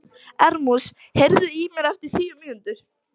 Erasmus, heyrðu í mér eftir tíu mínútur.